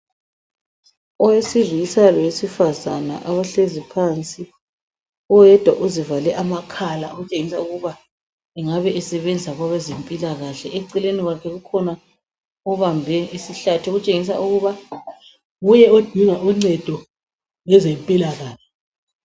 Owesilisa lowesifazana abahlezi phansi. Oyedwa uzivale amakhala okutshengisa ukuba engabe esebenza kwabezempilakahle, eceleni kwakhe kukhona obambe isihlathi okutshengisa ukuba nguye odinga uncedo lwezempilakahle.